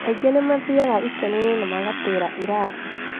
Angĩ nĩmathiaga ikeno-inĩ na magatĩra irathi